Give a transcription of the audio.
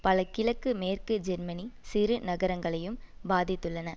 பல கிழக்கு மேற்கு ஜெர்மனி சிறு நகரங்களையும் பாதித்துள்ளன